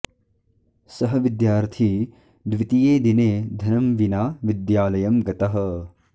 सः विद्यार्थी द्वितीये दिने धनं विना विद्यालयं गतः